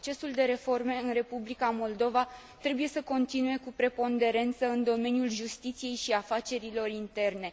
Procesul de reforme în Republica Moldova trebuie să continue cu preponderență în domeniul justiției și afacerilor interne.